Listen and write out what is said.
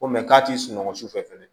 Ko mɛ k'a t'i sunɔgɔ su fɛ fɛnɛ